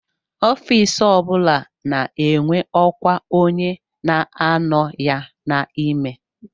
Ofiisi o bụla na-enwe ọkwa onye na-anọ ya n'ime